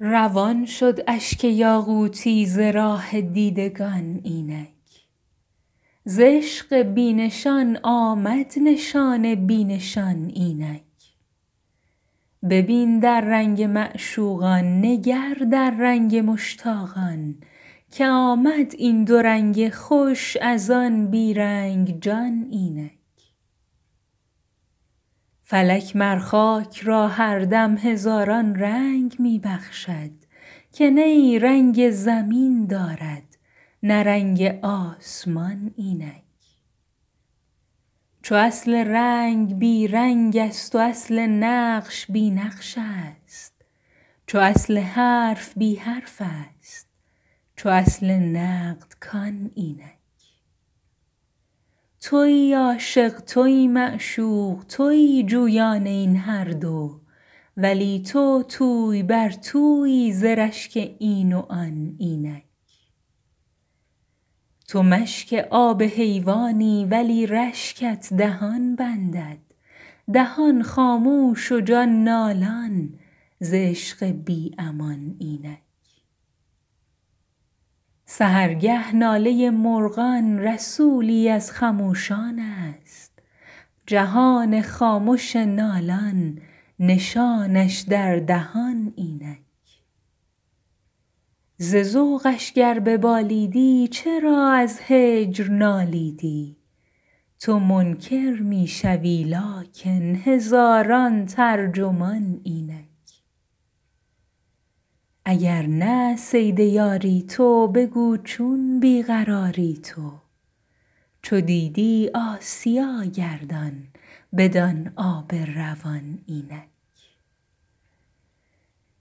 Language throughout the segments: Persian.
روان شد اشک یاقوتی ز راه دیدگان اینک ز عشق بی نشان آمد نشان بی نشان اینک ببین در رنگ معشوقان نگر در رنگ مشتاقان که آمد این دو رنگ خوش از آن بی رنگ جان اینک فلک مر خاک را هر دم هزاران رنگ می بخشد که نی رنگ زمین دارد نه رنگ آسمان اینک چو اصل رنگ بی رنگست و اصل نقش بی نقشست چو اصل حرف بی حرفست چو اصل نقد کان اینک توی عاشق توی معشوق توی جویان این هر دو ولی تو توی بر تویی ز رشک این و آن اینک تو مشک آب حیوانی ولی رشکت دهان بندد دهان خاموش و جان نالان ز عشق بی امان اینک سحرگه ناله مرغان رسولی از خموشانست جهان خامش نالان نشانش در دهان اینک ز ذوقش گر ببالیدی چرا از هجر نالیدی تو منکر می شوی لیکن هزاران ترجمان اینک اگر نه صید یاری تو بگو چون بی قراری تو چو دیدی آسیا گردان بدان آب روان اینک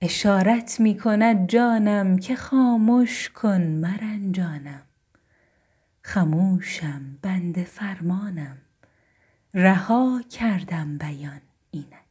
اشارت می کند جانم که خامش که مرنجانم خموشم بنده فرمانم رها کردم بیان اینک